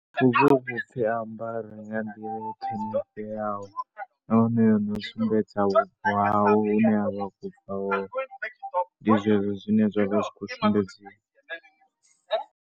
Hu vha hu khou pfhi a ambare nga nḓila i ṱhonifheaho nahone ndi u sumbedza vhubvo hawe hune a vha a khou bva hone. Ndi zwezwo zwine zwa vha zwi khou sumbedziwa.